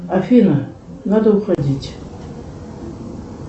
афина надо уходить